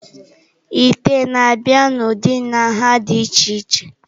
Ite na-abịa n'ụdị na nha dị iche iche.